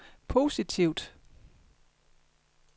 positivt